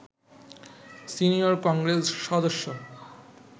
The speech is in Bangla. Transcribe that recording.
সিনিয়র কংগ্রেস সদস্য